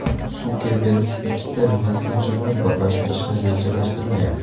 Sukerberg ikkita messenjerni birlashtirishni rejalashtirmayapti.